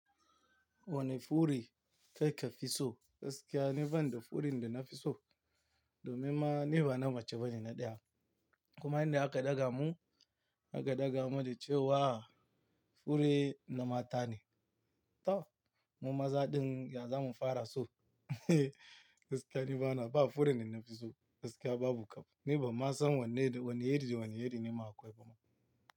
Wani fure kai ka fi so gaskiya ni ban da fure da na fi so domin ma ni bana mace bane na ɗiya. Kuma inda aka ɗaga mu aka ɗaga mu da cewa fure na mata ne. To mu maza din ya zamu fara so? Gaskiya ni bana ba fure da na fi so gaskiya babu kab. Ni ban ma san wane, wani iri da wani iri nema akwai bama.